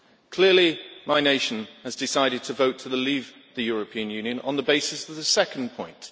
Clearly, my nation has decided to vote to leave the European Union on the basis of the second point.